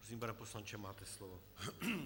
Prosím, pane poslanče, máte slovo.